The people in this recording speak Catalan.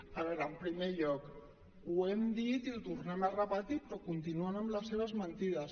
a veure en primer lloc ho hem dit i ho tornem a repetir però continuen amb les seves mentides